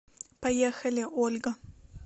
поехали ольга